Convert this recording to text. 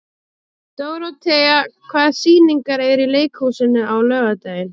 Dórothea, hvaða sýningar eru í leikhúsinu á laugardaginn?